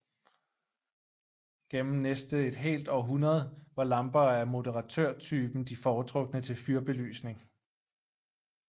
Gennem næste et helt århundrede var lamper af moderatørtypen de foretrukne til fyrbelysning